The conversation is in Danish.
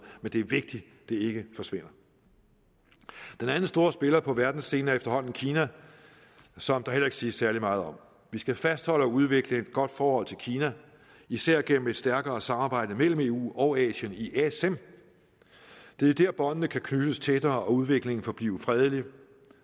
men det er vigtigt at det ikke forsvinder den anden store spiller på verdensscenen er efterhånden kina som der heller ikke siges særlig meget om vi skal fastholde og udvikle et godt forhold til kina især gennem et stærkere samarbejde mellem eu og asien i asem det er der båndene kan knyttes tættere og udviklingen forblive fredelig